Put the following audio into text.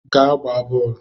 Gaa gbaa boolu!